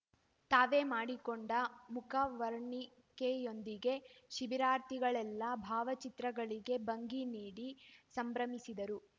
ತಾವೇ ಮಾಡಿಕೊಂಡ ಮುಖವರ್ಣಿಕೆಯೊಂದಿಗೆ ಶಿಬಿರಾರ್ಥಿಗಳೆಲ್ಲಾ ಭಾವಚಿತ್ರಗಳಿಗೆ ಭಂಗಿ ನೀಡಿ ಸಂಭ್ರಮಿಸಿದರು